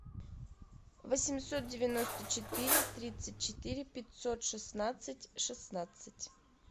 восемьсот девяносто четыре тридцать четыре пятьсот шестнадцать шестнадцать